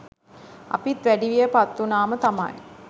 අපිත් වැඩිවිය පත්වුනාම තමයි